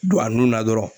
Don a nun na dɔrɔn